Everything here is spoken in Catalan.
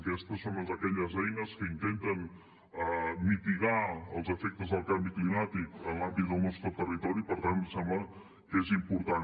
aquesta és una d’aquelles eines que intenten mitigar els efectes del canvi climàtic en l’àmbit del nostre territori i per tant ens sembla que és important